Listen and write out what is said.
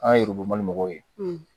An yururubali mɔgɔw ye